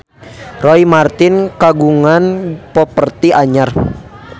Roy Marten kagungan properti anyar